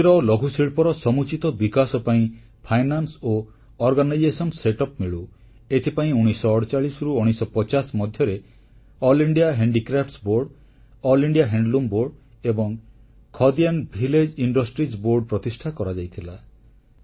କୁଟୀର ଓ ଲଘୁଶିଳ୍ପର ସମୁଚିତ ବିକାଶ ପାଇଁ ସେମାନଙ୍କୁ ଅର୍ଥ ଓ ଆନୁଷ୍ଠାନିକ ବ୍ୟବସ୍ଥା ମିଳୁ ଏଥିପାଇଁ 1948ରୁ 1950 ମଧ୍ୟରେ ସର୍ବଭାରତୀୟ ହସ୍ତଶିଳ୍ପ ବୋର୍ଡ ସର୍ବଭାରତୀୟ ହସ୍ତତନ୍ତ ବୋର୍ଡ ଏବଂ ଖଦି ଓ ଗ୍ରାମୋଦ୍ୟୋଗ ବୋର୍ଡ ପ୍ରତିଷ୍ଠା କରାଯାଇଥିଲା